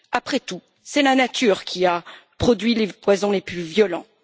Après tout, c'est la nature qui a produit les poisons les plus violents.